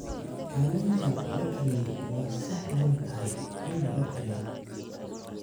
Kalluunka la kariyey waa sahlan tahay in la kariyo.